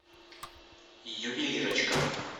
ювелирочка